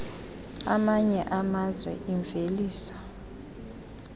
amanye amazwe imveliso